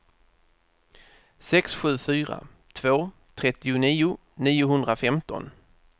sex sju fyra två trettionio niohundrafemton